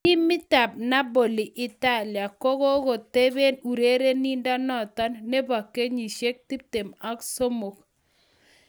Timitab Napoli Italia, ko kogoteben urerenindonoton nebo kenyisiek 23.